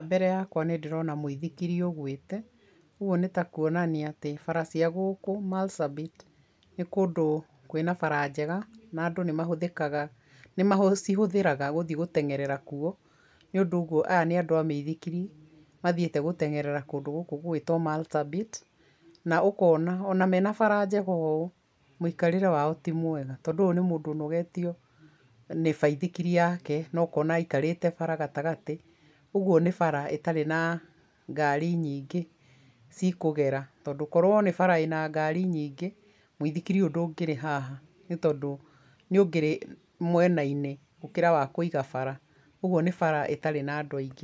Mbere yakwa nĩ ndĩrona mũithikiri ũgũite kũu nĩtakuonania atĩ bara cia gũkũ Marsabit nĩ kũndũ kwĩna bara njega na andũ nĩmacihũthĩraga gũthiĩ gũtengerera kuo, nĩ ũndũ ũguo aya nĩ andũ a mĩithikiri mathiĩte gũtengerera kũndũ gũkũ gũgwĩtwo Marsabit, na ũkona ona mena bara njega ũũ mũikarĩre wao ti mwega tondũ ũyũ nĩ mũndũ ũnogetio nĩ baithikiri yake na aikarĩte bara gatagarĩ, ũguo nĩ bara ĩtarĩ na ngari nyingĩ cikũgera tondũ korwo nĩ bara ĩna ngari nyingĩ, mũithikiri ũyũ ndũngĩrĩ haha nĩ tondũ nĩ ũngĩrĩ mwenainĩ gũkĩra wa kũiga bara, ũguo nĩ bara ĩtarĩ na andũ aingĩ.